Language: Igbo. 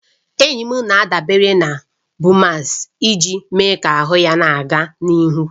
Enyi m na-adabere na Bumex iji mee ka ahụ ya na-aga n'ihu